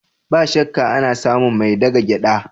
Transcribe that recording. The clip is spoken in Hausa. Ba shakka, ana samun mai daga gyada.